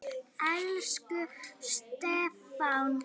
Elsku Stefán.